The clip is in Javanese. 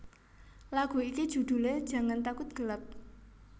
Lagu iki judhule Jangan Takut Gelap